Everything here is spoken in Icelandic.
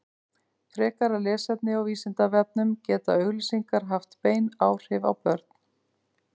frekara lesefni á vísindavefnum geta auglýsingar haft bein áhrif á börn